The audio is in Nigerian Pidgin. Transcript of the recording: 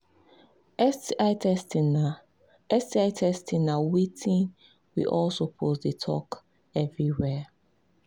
sti testing na sti testing na watin we all suppose they talk everywhere